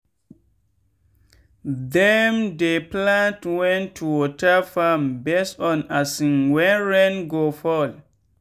them dey plan when to water farm base on um when rain go fall.